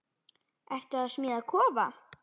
Ertu að smíða kofa?